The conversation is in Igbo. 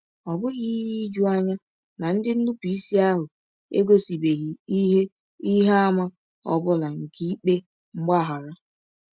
Ọ bụghị ihe ijuanya na ndị nnupụisi ahụ egosibeghị ihe ihe àmà ọ bụla nke ikpe mgbaghara.